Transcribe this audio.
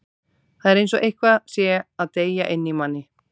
Það er eins og eitthvað sé að deyja inni í manni.